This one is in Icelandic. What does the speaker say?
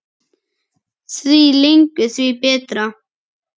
Því lengur því betra.